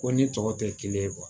Ko ni tɔw tɛ kelen ye